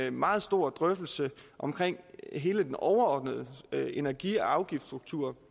en meget stor drøftelse om hele den overordnede energi og afgiftsstruktur